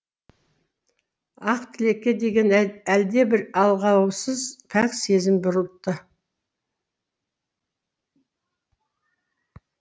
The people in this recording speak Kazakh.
ақтілекке деген әлдебір алғаусыз пәк сезім бұрылтты